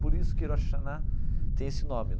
Por isso que Rosh Hashanah tem esse nome.